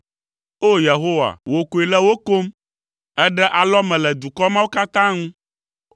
O! Yehowa, wò koe le wo kom, èɖe alɔme le dukɔ mawo katã ŋu.